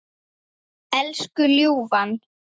Elsku ljúfa.